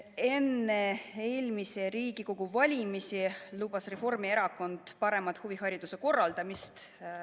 Enne eelmisi Riigikogu valimisi lubas Reformierakond paremat huvihariduse korraldamist.